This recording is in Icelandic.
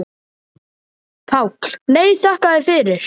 PÁLL: Nei, þakka þér fyrir.